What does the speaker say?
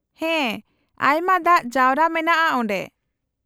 -ᱦᱮᱸ, ᱟᱭᱢᱟ ᱫᱟᱜ ᱡᱟᱣᱨᱟ ᱢᱮᱱᱟᱜᱼᱟ ᱚᱸᱰᱮ ᱾